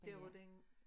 Der hvor den